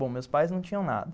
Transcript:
Bom, meus pais não tinham nada.